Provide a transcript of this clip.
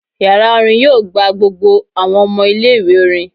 Yara orin yoo gba gbogbo awọn ọmọ ile-iwe orin